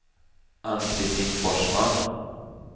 Ann-Kristin Forsman